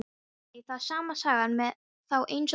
Nei, það er sama sagan með þá eins og börnin.